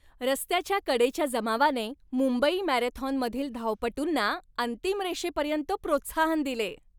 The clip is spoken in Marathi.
रस्त्याच्या कडेच्या जमावाने मुंबई मॅरेथॉनमधील धावपटूंना अंतिम रेषेपर्यंत प्रोत्साहन दिले.